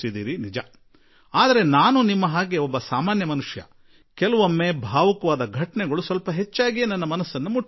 ಆದರೆ ಎಷ್ಟಾದರೂ ನಾನೂ ಕೂಡ ನಿಮ್ಮ ಹಾಗೆಯೇ ಒಬ್ಬ ಮನುಷ್ಯ ಮತ್ತು ಕೆಲವೊಮ್ಮೆ ಭಾವುಕ ಘಟನೆಗಳು ನನ್ನನು ತುಸು ಹೆಚ್ಚೇ ತಟ್ಟಿಬಿಡುತ್ತವೆ